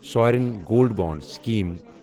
sovereign gold bond scheme